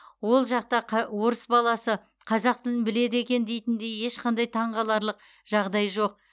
ол жақта қа орыс баласы қазақ тілін біледі екен дейтіндей ешқандай таңғаларлық жағдай жоқ